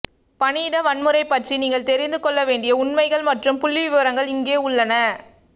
பணியிட வன்முறை பற்றி நீங்கள் தெரிந்துகொள்ள வேண்டிய உண்மைகள் மற்றும் புள்ளிவிபரங்கள் இங்கே உள்ளன